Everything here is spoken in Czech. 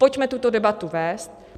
Pojďme tuto debatu vést.